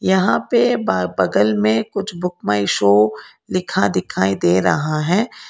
यहां पे ब बगल में कुछ बुक माई शो लिखा दिखाई दे रहा है।